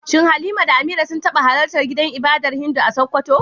Shin Halima da Amira sun taba halartar gidan ibadar Hindu a Sokoto?